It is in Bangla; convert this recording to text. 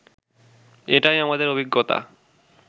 এটাই আমাদের অভিজ্ঞতা